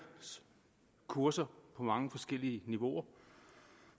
kurser på mange forskellige niveauer